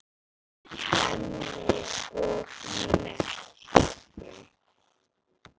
Lauk henni og merkti.